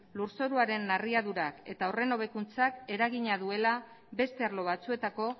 lur zoruaren narriadurak eta horren hobekuntzak eragina duela beste arlo batzuetako